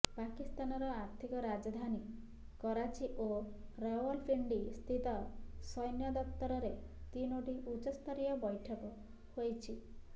ପାକିସ୍ତାନର ଆର୍ଥିକ ରାଜଧାନୀ କରାଚି ଓ ରାଓ୍ବଲପିଣ୍ଡି ସ୍ଥିତ ସୈନ୍ୟ ଦପ୍ତରରେ ତିନୋଟି ଉଚ୍ଚସ୍ତରୀୟ ବୈଠକ ହୋଇଛି